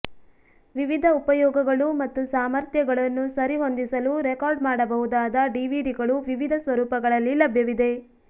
ವಿವಿಧ ಉಪಯೋಗಗಳು ಮತ್ತು ಸಾಮರ್ಥ್ಯಗಳನ್ನು ಸರಿಹೊಂದಿಸಲು ರೆಕಾರ್ಡ್ ಮಾಡಬಹುದಾದ ಡಿವಿಡಿಗಳು ವಿವಿಧ ಸ್ವರೂಪಗಳಲ್ಲಿ ಲಭ್ಯವಿದೆ